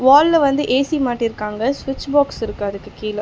ஹால்ல வந்து ஏ_சி மாட்டிருக்காங்க. ஸ்விட்ச் பாக்ஸ் இருக்கு அதுக்கு கீழ.